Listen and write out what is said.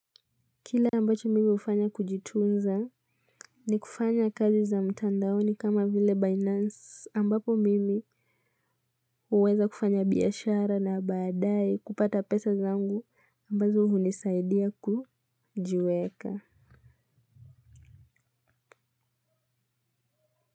Kile ambacho mimi hufanya kujitunza ni kufanya kazi za mtandaoni kama vile Binance ambapo mimi uweza kufanya biyashara na badae kupata pesa zangu ambazo hunisaidia kujiweka.